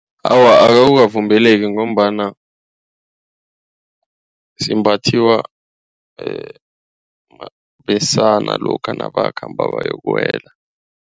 Awa akukavumeleki ngombana simbathiwa besana lokha nabakhamba bayokuwela.